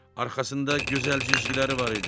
Arxasında gözəl cizgiləri var idi.